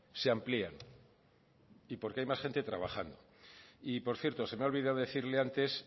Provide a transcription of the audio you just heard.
se amplían y porque hay más gente trabajando y por cierto se me ha olvidado decirle antes